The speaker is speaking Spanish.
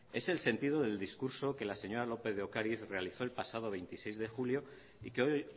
es el sentido del discurso que la señora lópez de ocariz realizó el pasado veintiséis de julio y que hoy